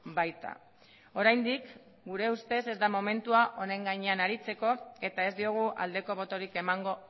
baita oraindik gure ustez ez da momentua honen gainean aritzeko eta ez diogu aldeko botorik emango